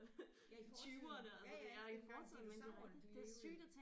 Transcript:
Ja i fortiden ja ja dengang dinosauerne de levede